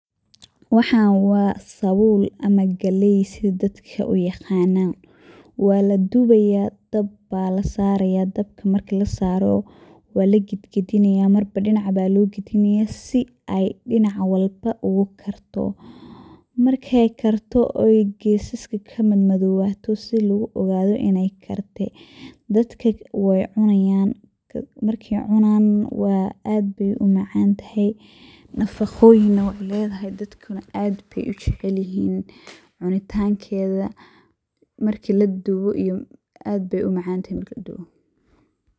Waxan wa sabul ama galey sida dadka uyaqanan, waladubaya dab aya lasaraya marki lasarana walagadgadinaya si markba dinac walba ogakarto, markey karto oo gesaska kamadowato si luguuogado iney karte\. Dadka wey cunayan markey cunaan aad ayey umacantahay nafaqoyin wey ledahay dadkana aad ayey ujecelyihin cunitankeda marki ladubo aad ayey umacantahay.